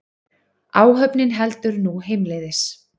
Áhöfnin heldur nú heimleiðis